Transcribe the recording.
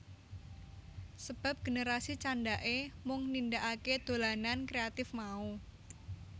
Sebab generasi candhake mung nindakake dolanan kreatif mau